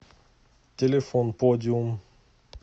телефон подиум